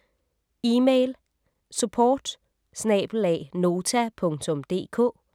E-mail: support@nota.dk